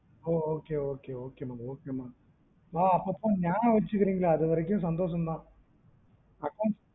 ஓ okay okay okay மா மா ஆஹ் அப்பப்போ நியாபகம் வச்சுக்குறீங்களே அதுவரைக்கும் சந்தோசம் தான் accounts